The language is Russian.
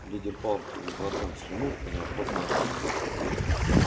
лидер партии сглотнул слюну и неохотно ответил